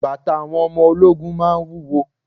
Bàtà àwọn ọmọ ológun máa ń wúwo.